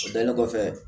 O dalen kɔfɛ